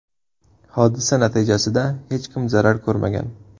Hodisa natijasida hech kim zarar ko‘rmagan.